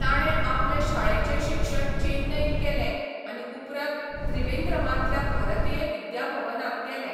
ताणें आपलें शाळेचें शिक्षण चेन्नईंत केलें आनी उपरांत त्रिवेंद्रमांतल्या भारतीय विद्याभवनांत केलें.